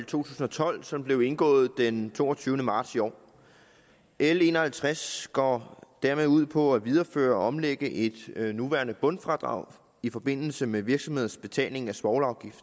tusind og tolv som blev indgået den toogtyvende marts i år l en og halvtreds går dermed ud på at videreføre og omlægge et nuværende bundfradrag i forbindelse med virksomheders betaling af svovlafgift